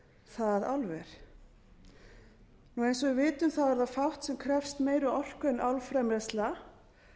það álver eins og við vitum er fátt sem krefst meiri orku en álframleiðsla